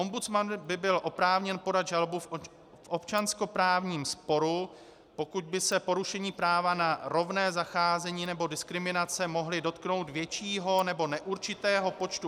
Ombudsman by byl oprávněn podat žalobu v občanskoprávním sporu, pokud by se porušení práva na rovné zacházení nebo diskriminace mohly dotknout většího nebo neurčitého počtu -